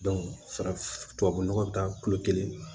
farafin nɔgɔ bɛ taa kulo kelen